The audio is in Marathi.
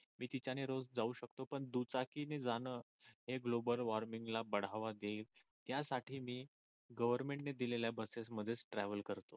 मी तिच्याने रोज जाऊ शकतो पण दुचाकीने जाण हे गोबल वॉर्मिंगला बढावा देईल त्यासाठी मी गव्हर्मेंटने दिलेल्या बसेस मध्येच ट्रॅव्हल करतो.